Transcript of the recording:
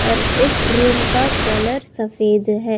और इस रूम का कलर सफेद है।